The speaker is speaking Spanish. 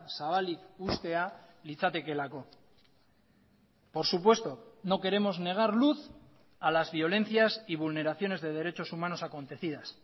zabalik uztea litzatekeelako por supuesto no queremos negar luz a las violencias y vulneraciones de derechos humanos acontecidas